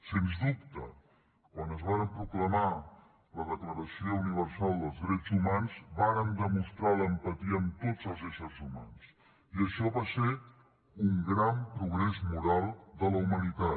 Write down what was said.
sens dubte quan es va proclamar la declaració universal dels drets humans vàrem demostrar l’empatia amb tots els éssers humans i això va ser un gran progrés moral de la humanitat